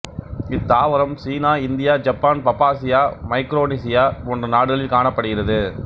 இத்தாவரம் China India Japan பப்பாசியா Micronesia போன்ற நாடுகளில் காணப்படுகிறது